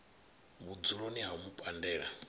vhudzuloni ha u mu pandela